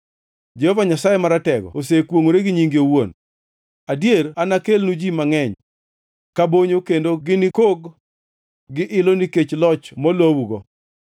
Jehova Nyasaye Maratego osekwongʼore gi nyinge owuon: Adier anakelnu ji mangʼeny, ka bonyo, kendo ginikog gi ilo nikech loch molowugo.